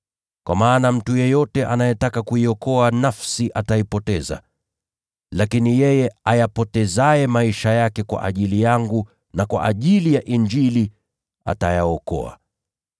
Kwa maana yeyote anayetaka kuyaokoa maisha yake atayapoteza, lakini yeyote atakayeyapoteza maisha yake kwa ajili yangu na kwa ajili ya Injili atayaokoa.